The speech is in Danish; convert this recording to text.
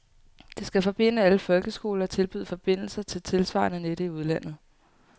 Det skal forbinde alle folkeskoler og tilbyde forbindelser til tilsvarende net i udlandet.